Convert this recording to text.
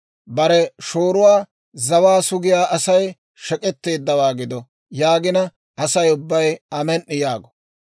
« ‹Bare shooruwaa zawaa sugiyaa Asay shek'etteeddawaa gido› yaagina, Asay ubbay, ‹Amen"i!› yaago.